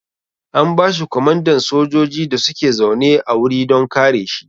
An bashi komandan sojoji da suke zaune a wuri don kare shi